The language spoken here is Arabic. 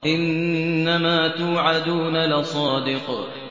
إِنَّمَا تُوعَدُونَ لَصَادِقٌ